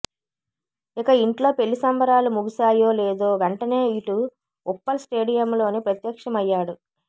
ఇక ఇంట్లో పెళ్లి సంబరాలు ముగిసాయో లేదో వెంటనే ఇటు ఉప్పల్ స్టేడియంలో ప్రత్యక్షమయ్యాడు